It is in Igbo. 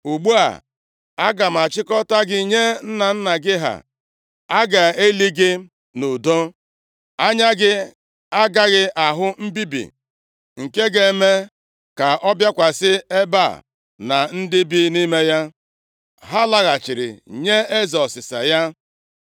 Ugbu a, aga m achịkọta gị nye nna nna gị ha, a ga-eli gị nʼudo. Anya gị agaghị ahụ mbibi nke m ga-eme ka ọ bịakwasị ebe a na ndị bi nʼime ya.’ ” Ha laghachiri inye eze ọsịsa ya.